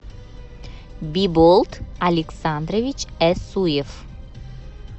биболт александрович эсуев